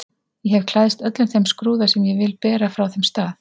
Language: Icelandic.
Ég hef klæðst öllum þeim skrúða sem ég vil bera frá þeim stað.